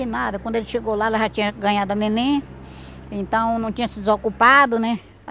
E nada, quando ele chegou lá, ela já tinha ganhado a neném, então não tinha se desocupado, né?